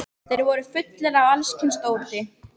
Þeir voru fullir af alls kyns dóti.